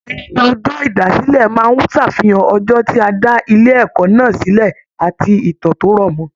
Ayẹyẹ ọjọ ìdásílẹ̀ máa n ṣàfihàn ọjọ ti a dà ilé ẹ̀kọ́ náà silẹ àti ìtàn to rọmọ.